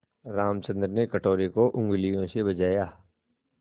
रामचंद्र ने कटोरे को उँगलियों से बजाया